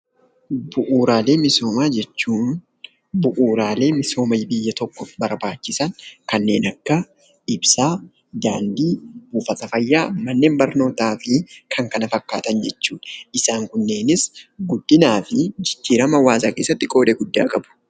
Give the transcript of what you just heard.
Bu'uuraalee misoomaa jechuun bu'uuraalee misooma biyya tokkoof barbaachisan kannen akka ibsaa, daandii, buufata fayyaa, manneen barnootaa fi kan kana fakkaatan jechuudha. Isaan kunneenis guddinaafi jijjiirama hawaasaa keessatti qooda gudda qabu.